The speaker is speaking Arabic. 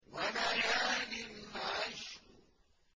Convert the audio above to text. وَلَيَالٍ عَشْرٍ